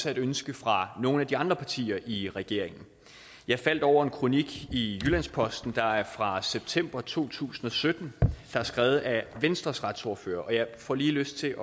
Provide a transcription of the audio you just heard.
et ønske fra nogle af de andre partier i regeringen jeg faldt over en kronik i jyllands posten fra september to tusind og sytten der er skrevet af venstres retsordfører og jeg får lige lyst til